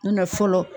N na fɔlɔ